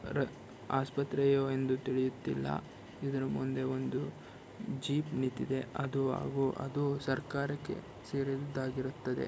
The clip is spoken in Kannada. ಆಸ್ಪತ್ರೆಯೋ ಎಂದು ತಿಳಿಯುತ್ತಿಲ್ಲ ಇದರ ಮುಂದೆ ಒಂದು ಜೀಪ್ ನಿಂತಿದೆ ಅದು ಹಾಗೂ ಅದು ಸರ್ಕಾರಕ್ಕೆ ಸೇರಿರುದ್ದಾಗಿರುತ್ತದೆ.